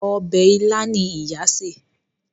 Obè ila ní ìyá ṣe.